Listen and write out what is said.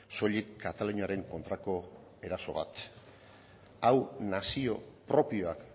soilik kataluniaren kontrako eraso bat hau nazio propioak